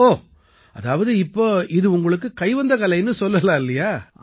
ஓ அதாவது இப்ப இது உங்களுக்கு கைவந்த கலைன்னு சொல்லலாம் இல்லையா